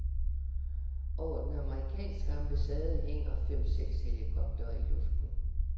Over den amerikanske ambassade hænger fem seks helikoptere i luften.